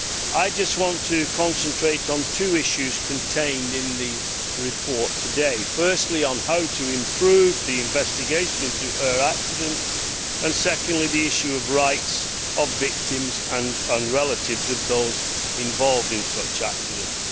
I want to concentrate on two issues contained in the report firstly, on how to improve the investigation of air accidents and, secondly, on the issue of the rights of victims and relatives of those involved in such accidents.